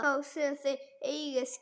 Þá sem þeir eiga skilið.